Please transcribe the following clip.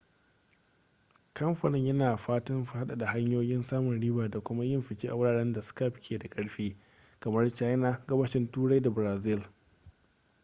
kamfanin yana fatan faɗaɗa hanyoyin samun riba da kuma yin fice a wuraren da skype ke da ƙarfi kamar china gabashin turai da brazil